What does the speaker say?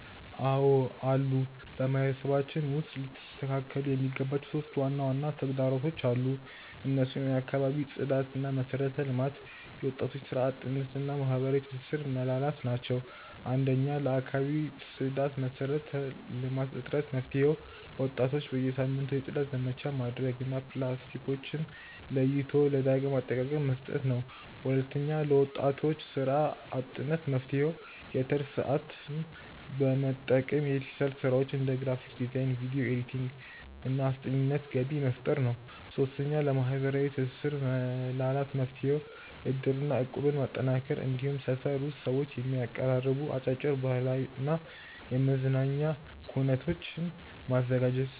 አዎ አሉ። በማህበረሰባችን ውስጥ ሊስተካከሉ የሚገባቸው 3 ዋና ዋና ተግዳሮቶች አሉ። እነሱም የአካባቢ ጽዳትና መሰረተ ልማት፣ የወጣቶች ስራ አጥነት እና የማህበራዊ ትስስር መላላት ናቸው። 1. ለአካባቢ ጽዳትና መሰረተ ልማት እጥረት መፍትሄው፦ ወጣቶች በየሳምንቱ የጽዳት ዘመቻ ማድረግ እና ፕላስቲኮችን ለይቶ ለዳግም አጠቃቀ መስጠት ነው። 2. ለወጣቶች ስራ አጥነት መፍትሄው፦ የትርፍ ሰዓትን በመጠቀም በዲጂታል ስራዎች (እንደ ግራፊክ ዲዛይን፣ ቪዲዮ ኤዲቲንግ) እና አስጠኚነት ገቢ መፍጠር ነው። 3. ለማህበራዊ ትስስር መላላት መፍትሄው፦ እድርና እቁብን ማጠናከር፣ እንዲሁም ሰፈር ውስጥ ሰዎችን የሚያቀራርቡ አጫጭር የባህልና የመዝናኛ ኩነቶችን ማዘጋጀት።